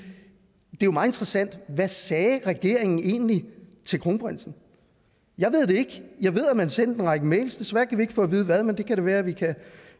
jo er meget interessant hvad sagde regeringen egentlig til kronprinsen jeg ved det ikke jeg ved at man sendte en række mails desværre kan vi ikke få at vide om hvad men det kan da være at vi kan